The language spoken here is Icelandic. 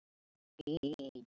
Svona mætti áfram halda.